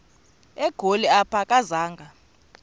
egoli apho akazanga